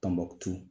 Tɔnbukutu